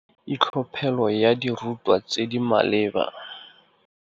Itlhophelo ya dirutwa tse di maleba.